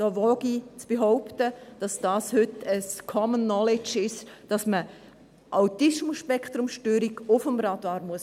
Da wage ich zu behaupten, dass es heute ein Common Knowledge ist, dass man ASS auf dem Radar haben muss.